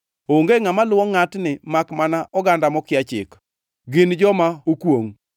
Onge ngʼama luwo ngʼatni makmana oganda mokia chik, gin joma okwongʼ!”